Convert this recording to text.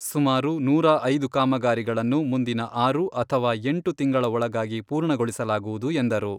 ಸುಮಾರು ನೂರಾ ಐದು ಕಾಮಗಾರಿಗಳನ್ನು ಮುಂದಿನ ಆರು ಅಥವಾ ಎಂಟು ತಿಂಗಳ ಒಳಗಾಗಿ ಪೂರ್ಣಗೊಳಿಸಲಾಗುವುದು ಎಂದರು.